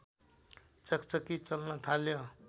चकचकी चल्न थाल्यो